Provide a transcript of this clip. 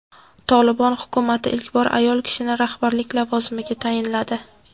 "Tolibon" hukumati ilk bor ayol kishini rahbarlik lavozimiga tayinladi.